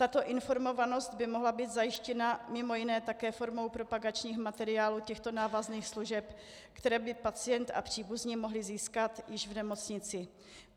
Tato informovanost by mohla být zajištěna mimo jiné také formou propagačních materiálů těchto návazných služeb, které by pacient a příbuzní mohli získat již v nemocnici.